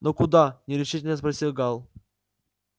но куда нерешительно спросил гаал